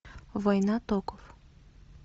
война токов